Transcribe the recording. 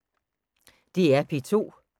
DR P2